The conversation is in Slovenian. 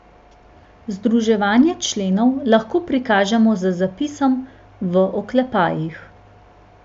Združevanje členov lahko prikažemo z zapisom v oklepajih.